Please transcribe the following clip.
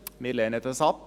Wir lehnen das ab.